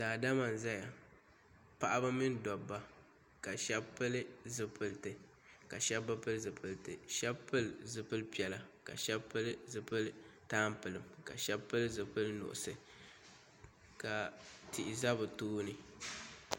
Daadama n zaya paɣaba mini dobba ka sheba pili zipilti ka sheba bi pili zipilti sheba pili zipil'piɛla ka sheba pili zipil'tampilim ka sheba pili zipil'nuɣuso ka tihi za bɛ tooni.